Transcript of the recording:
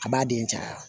A b'a den caya